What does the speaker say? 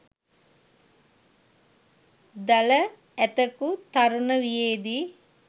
දළ ඇතකු තරුණ වියේදී